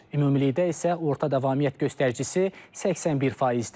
Ümumilikdə isə orta davamiyyət göstəricisi 81%-dir.